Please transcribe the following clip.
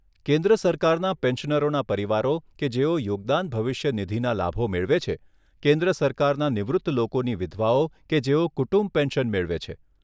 કેન્દ્ર સરકારના પેન્શનરોના પરિવારો કે જેઓ યોગદાન ભવિષ્ય નિધિના લાભો મેળવે છે, કેન્દ્ર સરકારના નિવૃત્ત લોકોની વિધવાઓ કે જેઓ કુટુંબ પેન્શન મેળવે છે.